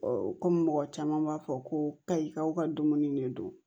kɔmi mɔgɔ caman b'a fɔ ko kayikaw ka dumuni ne don